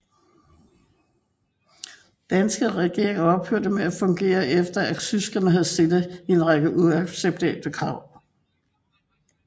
Den danske regering ophørte med at fungere efter at tyskerne havde stillet en række uacceptable krav